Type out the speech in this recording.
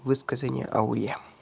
высказывания ауе